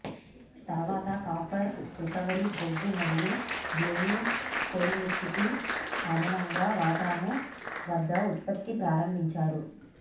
తర్వాత copper recovery బొగ్గు మరియు బ్లోయింగ్ కొలిమితిత్తి అదనంగా వాటాను వద్ద ఉత్పత్తి ప్రారంభించారు